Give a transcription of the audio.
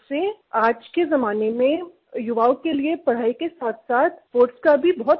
आज के जमाने में युवाओं के लिए पढ़ाई के साथसाथ स्पोर्ट्स का भी बहुत महत्व है